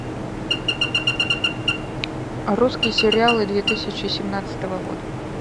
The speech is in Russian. русские сериалы две тысячи семнадцатого года